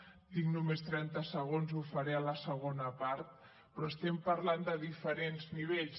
tinc només trenta segons ho faré a la segona part però estem parlant de diferents nivells